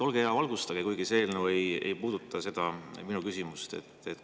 Olge hea, valgustage mind – kuigi see eelnõu ei puuduta minu küsimust.